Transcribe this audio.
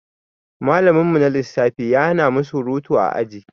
Malamin mu na lissafi ya hanamu surutu a aji